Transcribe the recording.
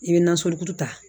I bɛ na sunkurutaa